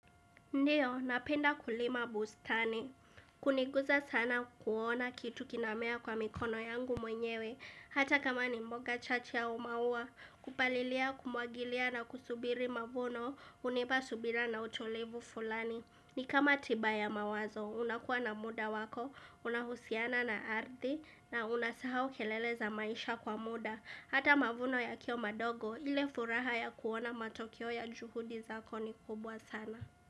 Ndio, napenda kulima bustani. Kuniguza sana kuona kitu kinamea kwa mikono yangu mwenyewe, hata kama ni mboga chache au maua, kupalilia, kumwagilia na kusubiri mavuno, hunipa subira na utulivu fulani. Ni kama tiba ya mawazo, unakuwa na muda wako, unahusiana na ardhi, na unasahau kelele za maisha kwa muda. Hata mavuno yakiwa madogo, ile furaha ya kuona matokeo ya juhudi zako ni kubwa sana.